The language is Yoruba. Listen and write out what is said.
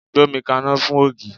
Gbómi kaná fún ògì!